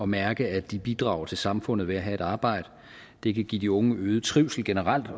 mærke at de bidrager til samfundet ved at have et arbejde det kan give de unge øget trivsel generelt